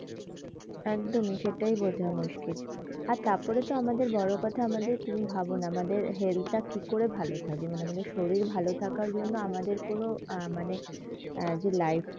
একদমই সেইটাই বোঝা মুশকিল আর তারপরে তো আমাদের বড়কথা আমাদের তুমি ভাবনা আমাদের health তা কি করে ভালো থাকবে মানে আমাদের শরীর ভালো থাকার জন্যে আমাদের কোনো আহ মানে যে life